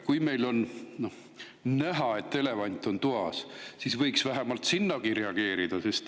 Kui meil on näha, et elevant on toas, siis võiks vähemalt sellelegi reageerida.